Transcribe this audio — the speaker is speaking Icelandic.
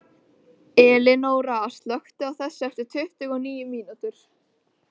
Elinóra, slökktu á þessu eftir tuttugu og níu mínútur.